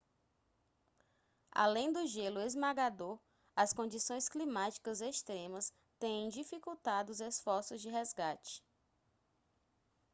além do gelo esmagador as condições climáticas extremas têm dificultado os esforços de resgate